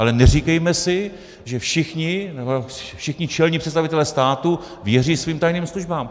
Ale neříkejme si, že všichni čelní představitelé státu věří svým tajným službám.